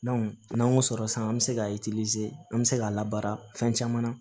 n'an y'o sɔrɔ sisan an bɛ se ka an bɛ se k'a labara fɛn caman na